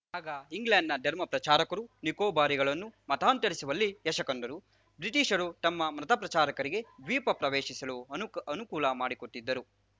ಆಗ ಇಂಗ್ಲೆಂಡ್‌ನ ಧರ್ಮಪ್ರಚಾರಕರು ನಿಕೋಬಾರಿಗಳನ್ನು ಮತಾಂತರಿಸುವಲ್ಲಿ ಯಶ ಕಂಡರು ಬ್ರಿಟಿಷರು ತಮ್ಮ ಮತ ಪ್ರಚಾರಕರಿಗೆ ದ್ವೀಪ ಪ್ರವೇಶಿಸಲು ಅನು ಅನುಕೂಲ ಮಾಡಿಕೊಟ್ಟಿದ್ದರು